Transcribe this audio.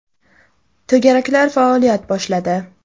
To‘garaklar faoliyat boshladi.